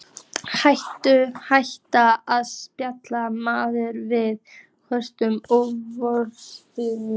Hætta að spila manna við Hrossið og Ofvitann.